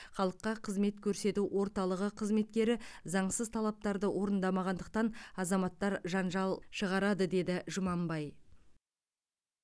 халыққа қызмет көрсету орталығы қызметкері заңсыз талаптарды орындамағандықтан азаматтар жанжал шығарады деді жұманбай